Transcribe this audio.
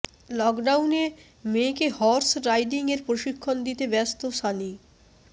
লোকডাউনে মেয়েকে horse riding এর প্রশিক্ষণ দিতে ব্যস্ত সানি